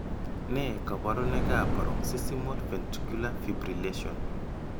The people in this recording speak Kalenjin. Nee kabarunoikab Paroxysmal Ventricular Fibrillation?